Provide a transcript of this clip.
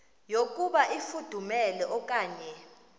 yokuba ifudumele okanye